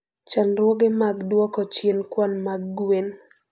Chandruoge mag duoko chien kwan mag gwen.